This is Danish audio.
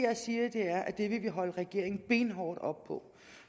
jeg siger er at det vil vi holde regeringen benhårdt op på